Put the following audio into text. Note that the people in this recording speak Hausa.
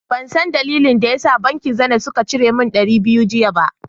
Ban zan dalilin da ya da bankin " zenith " sun cire min dari biyu jiya ba.